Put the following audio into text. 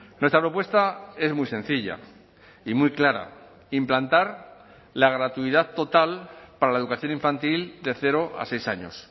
nuestra propuesta es muy sencilla y muy clara implantar la gratuidad total para la educación infantil de cero a seis años